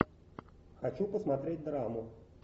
хочу посмотреть драму